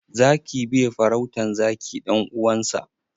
Zaki bai farautan zaki ɗan uwansa.